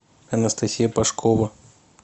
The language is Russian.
анастасия пашкова